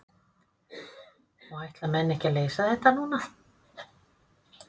Og ætla menn ekki að leysa þetta núna?